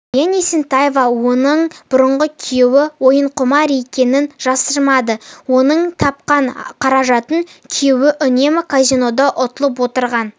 баян есентаева оның бұрынғы күйеуі ойынқұмар екенін жасырмады оның тапқан қаражатын күйеуі үнемі казинода ұтылып отырған